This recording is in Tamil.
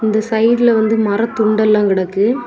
இந்த சைடுல வந்து மர துண்டு எல்லாம் கிடக்கு.